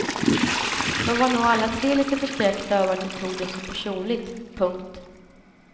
De var nog alla tre litet förskräckta över att du tog det så personligt. punkt